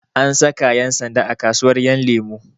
An saka ƴan sanda a kasuwar ƴanlemo